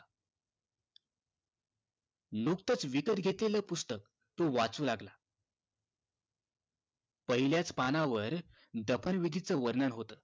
नुकतेच विकत घेतलेलं पुस्तक तो वाचू लागला पहिल्याच पानावर दफन विधीचा वर्णन होत